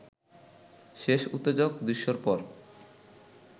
শেষ উত্তেজক দৃশ্যের পর